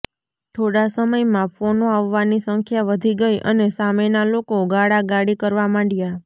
થોડા સમયમાં ફોનો આવવાની સંખ્યા વધી ગઈ અને સામેના લોકો ગાળાગાળી કરવા માંડ્યા